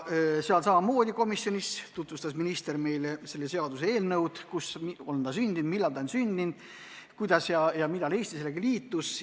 Ka komisjonis tutvustas minister meile seda seaduseelnõu: kus ta on sündinud, millal ta on sündinud, kuidas ja millal Eesti sellega liitus.